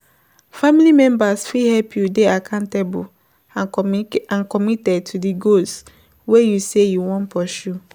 Family members fit help you dey accountable and committed to di goals wey you sey you wan pursue